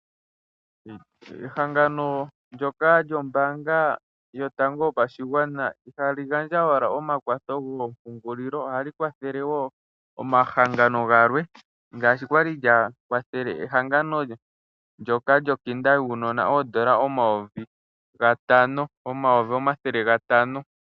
Kehangano ndjoka lyombaanga yotango yopashigwana . Ihali gandja owala omakwatho goompungulilo, ohali kwatha woo omahangano galwe ngaashi kwali gakwathele ehangango ndyoka lyosikola yuunona N$500000.